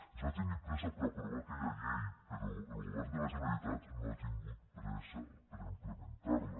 es va tenir pressa per aprovar aquella llei però el govern de la generalitat no ha tingut pressa per implementar la